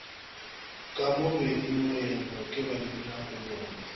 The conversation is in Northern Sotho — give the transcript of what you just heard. ka mo bengmoeno ke babinakolobe